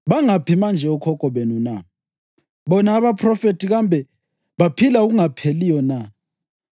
Bangaphi manje okhokho benu na? Bona abaphrofethi kambe baphila okungapheliyo na?